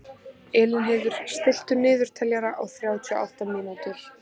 Elínheiður, stilltu niðurteljara á þrjátíu og átta mínútur.